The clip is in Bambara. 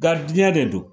de do